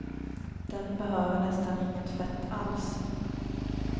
Den behöver nästan inget fett alls.